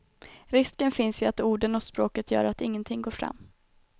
Risken finns ju att orden och språket gör att ingenting går fram.